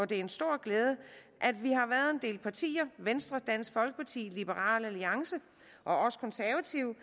det er en stor glæde at vi har været en del partier venstre dansk folkeparti liberal alliance og os konservative